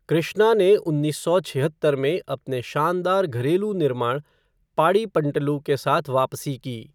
कृष्णा ने उन्नीस सौ छिहत्तर में अपने शानदार घरेलू निर्माण 'पाड़ि पंटलु' के साथ वापसी की।